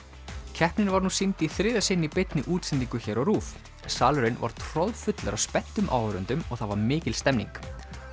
keppnin var nú sýnd í þriðja sinn í beinni útsendingu hér á RÚV salurinn var troðfullur af spenntum áhorfendum og það var mikil stemning